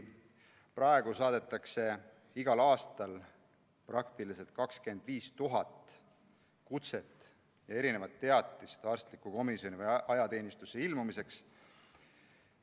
Praegu saadetakse igal aastal praktiliselt 25 000 kutset ja teatist arstlikku komisjoni või ajateenistusse ilmumiseks.